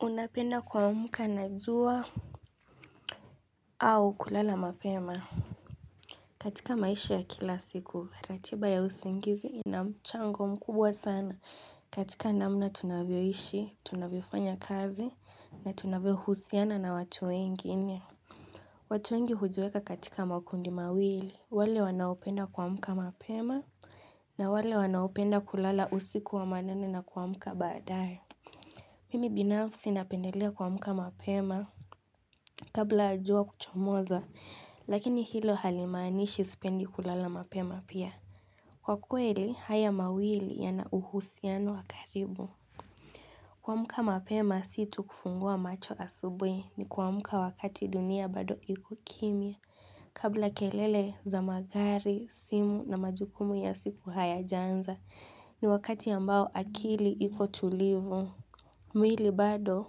Unapenda kuamka na jua au kulala mapema? Katika maisha ya kila siku, ratiba ya usingizi inamchango mkubwa sana. Katika namna tunavyoishi, tunavyofanya kazi, na tunavyo husiana na watu wengine. Watu wengi hujiweka katika makundi mawili. Wale wanaopenda kuamka mapema, na wale wanaopenda kulala usiku wa manane na kuamka baadae. Mimi binafsi napendelea kuamka mapema. Kabla ya jua kuchomoza, lakini hilo halimaanishi sipendi kulala mapema pia. Kwa kweli, haya mawili ya na uhusiano wa karibu. Kuamka mapema situ kufungua macho asubuhi ni kuamka wakati dunia bado iko kimia. Kabla kelele za magari, simu na majukumu ya siku hayajaanza, ni wakati ambao akili iko tulivu. Mwili bado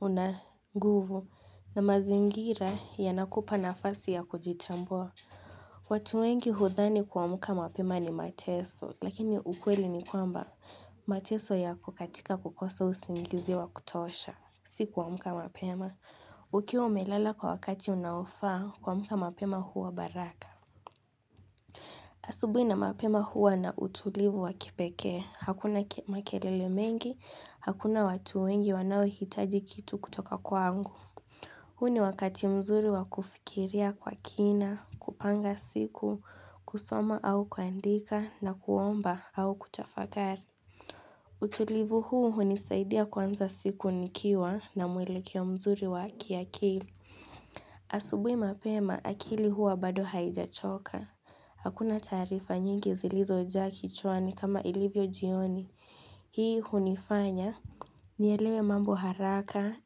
unanguvu na mazingira yanakupa nafasi ya kujitambua. Watu wengi hudhani kuamka mapema ni mateso, lakini ukweli ni kwamba mateso yako katika kukosa usingizi wa kutosha, si kuamka mapema. Ukiwa umelala kwa wakati unaofaa, kuamka mapema huwa baraka. Asubuhi na mapema huwa na utulivu wakipekee. Hakuna makelele mengi, hakuna watu wengi wanaohitaji kitu kutoka kwangu. Huu ni wakati mzuri wa kufikiria kwa kina, kupanga siku, kusoma au kuandika na kuomba au kutafakari. Utulivu huu hunisaidia kuanza siku nikiwa na mwelekeo mzuri wa kiakili. Asubuhi mapema akili huwa bado haijachoka. Hakuna taarifa nyingi zilizo jaa kichwani kama ilivyo jioni. Hii hunifanya, nielewe mambo haraka,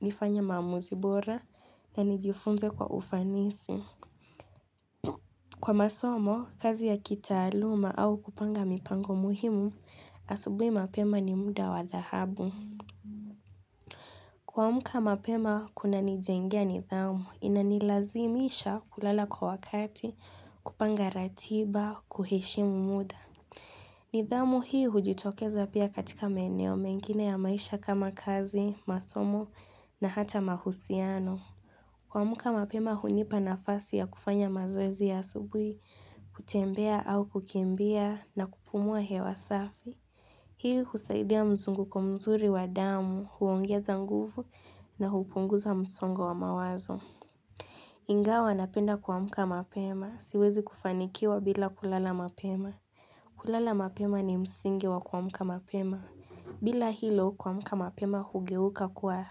nifanye maamuzi bora, na nijifunze kwa ufanisi. Kwa masomo, kazi ya kitaaluma au kupanga mipango muhimu, asubuhi mapema ni muda wa dhahabu. Kuamka mapema kuna nijengea nidhamu, inanilazimisha kulala kwa wakati, kupanga ratiba, kuheshimu muda. Nidhamu hii hujitokeza pia katika maeneo mengine ya maisha kama kazi, masomo na hata mahusiano. Kuamka mapema hunipa nafasi ya kufanya mazoezi ya asubuhi, kutembea au kukimbia na kupumua hewa safi. Hii husaidia mzunguko mzuri wa damu, huongeza nguvu na hupunguza msongo wa mawazo. Ingawa napenda kuamka mapema. Siwezi kufanikiwa bila kulala mapema. Kulala mapema ni msingi wa kuamka mapema. Bila hilo kuamka mapema hugeuka kuwa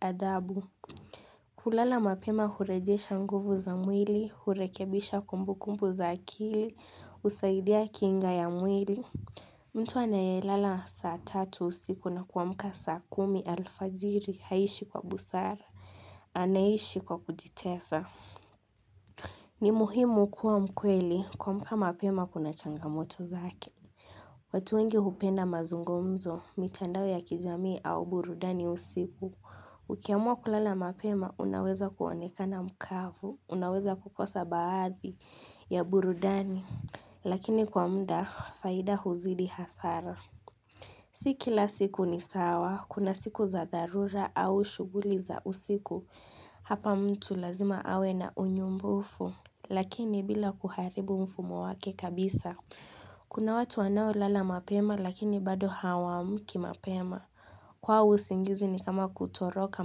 adabu. Kulala mapema hurejesha nguvu za mwili, hurekebisha kumbukumbu za akili, husaidia kinga ya mwili. Mtu anayelala saa tatu usiku na kuamka saa kumi alfajiri haishi kwa busara, anaishi kwa kujitesa. Ni muhimu kuwa mkweli kuamka mapema kuna changamoto zake. Watu wengi hupenda mazungumzo, mitandao ya kijamii au burudani usiku. Ukiamua kulala mapema, unaweza kuonekana mkavu, unaweza kukosa baadhi ya burudani, lakini kwa muda, faida huzidi hasara. Si kila siku ni sawa, kuna siku za dharura au shughuli za usiku, hapa mtu lazima awe na unyumbufu. Lakini bila kuharibu mfumo wake kabisa, kuna watu wanao lala mapema lakini bado hawaamki mapema. Kwao usingizi ni kama kutoroka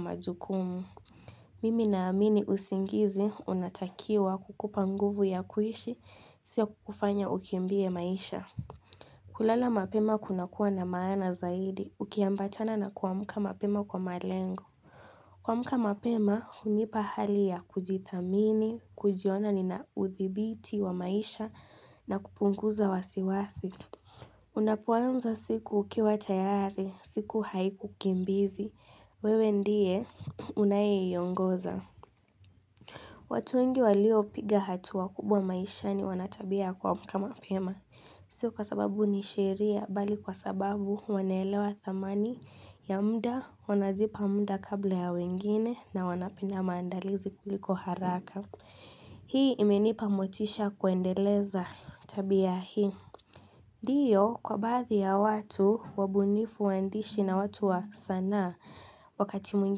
majukumu. Mimi na amini usingizi, unatakiwa kukupa nguvu ya kuishi, sio kukufanya ukimbie maisha. Kulala mapema kuna kuwa na maana zaidi, ukiambatana na kuamka mapema kwa malengo. Kuamka mapema, hunipa hali ya kujithamini, kujiona nina uthibiti wa maisha na kupunguza wasiwasi. Unapoanza siku ukiwa tayari, siku haiku kimbizi, wewe ndiye unayeiongoza. Watu wengi walio piga hatua kubwa maishani wanatabia ya kuamka mapema. Sio kwa sababu nisheria bali kwa sababu wana elewa thamani ya muda wanajipa muda kabla ya wengine na wanapenda maandalizi kuliko haraka Hii imenipa motisha kuendeleza tabia hii Ndiyo kwa baadhi ya watu wabunifu waandishi na watu wa sanaa wakati mwingine.